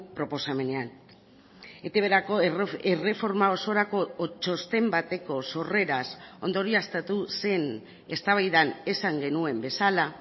proposamenean etbrako erreforma osorako txosten bateko sorreraz ondorioztatu zen eztabaidan esan genuen bezala